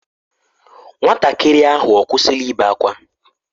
Nwatakịrị ahụ ọ kwụsịla ibe ákwá?